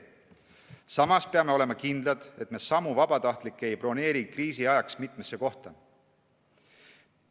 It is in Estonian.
Samas peame olema kindlad, et me samu vabatahtlikke ei broneeri kriisi ajaks mitmesse kohta.